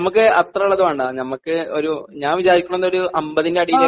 നമ്മക്ക് അത്രയും ഉള്ളത് വേണ്ട. നമുക്ക് ഞാൻ വിചാരിക്കുന്നത് ഒരു 50 ന്റെ അടിയിൽ